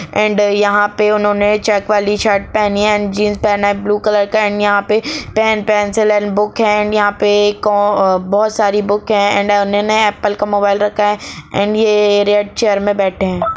And यहा पे उन्हों ने चेक वाली शर्ट पहनी है एण्ड जीन्स पहन है ब्लू कलर का एण्ड यहा पे पेन पेंसिल एण्ड बुक है एण्ड यहा पे बहुत सारी बुक है एण्ड उन्हों ने एप्पल का मोबाईल रखा है एण्ड ये रेड चैर मे बैठे है।